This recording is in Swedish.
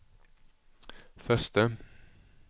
förste